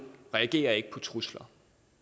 reagerer ikke på trusler